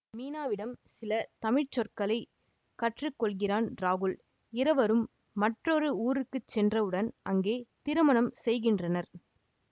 மீனாவிடம் சில தமிழ் சொற்களை கற்று கொள்கிறான் ராகுல் இருவரும் மற்றொரு ஊருக்கு சென்றவுடன் அங்கே திருமணம் செய்கின்றனர்